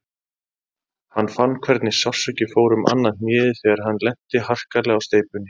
Hann fann hvernig sársauki fór um annað hnéð þegar hann lenti harkalega á steypunni.